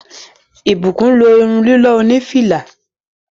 Blessing lo irun lilọ oni fìlà.